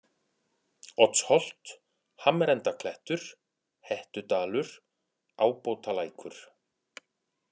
Oddsholt, Hamrendaklettur, Hettudalur, Ábótalækur